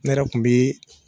Ne yɛrɛ kun bi